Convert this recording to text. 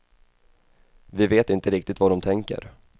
Vi vet inte riktigt vad de tänker.